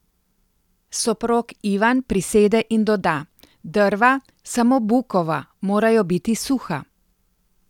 Soprog Ivan prisede in doda: 'Drva, samo bukova, morajo biti suha.